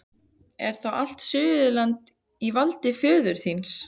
Er þá allt Suðurland á valdi föður þíns?